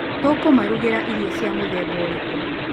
Tũkũmarugĩra irio cia mũthemba ũrĩkũ?